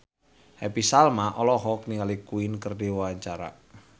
Happy Salma olohok ningali Queen keur diwawancara